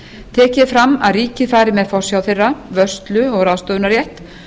tekið er fram að ríkið fari með forsjá þeirra vörslu og ráðstöfunarrétt